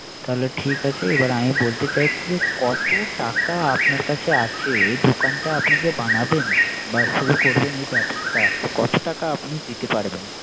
তাহলে ঠিক আছে আমি বলতে চাইছ যে কত টাকা আপনার কাছে আছে এ। দোকানটা আপনি যে বানাবেন বা শুরু করবেন এই ব্যবসাটা তো কত টাকা আপনি দিতে পারবেন।